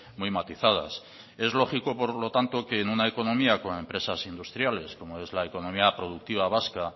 muy matizadas es lógico por lo tanto que en una economía con empresas industriales como es la economía productiva vasca